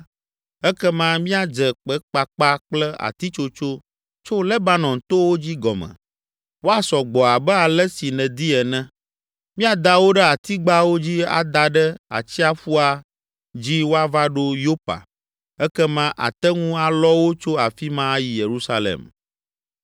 Ekema míadze kpekpakpa kple atitsotso tso Lebanon towo dzi gɔme, woasɔ gbɔ abe ale si nèdi ene. Míada wo ɖe atigbawo dzi ada ɖe atsiaƒua dzi woava ɖo Yopa, ekema àte ŋu alɔ wo tso afi ma ayi Yerusalem.”